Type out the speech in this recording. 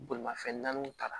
Bolimafɛn naaniw ta